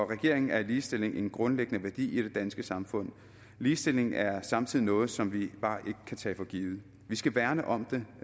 regeringen er ligestilling en grundlæggende værdi i det danske samfund ligestilling er samtidig noget som vi bare ikke kan tage for givet vi skal værne om den